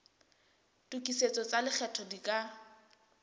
tokisetso tsa lekgetho di ka